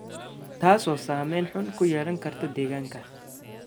taasoo saameyn xun ku yeelan karta deegaanka.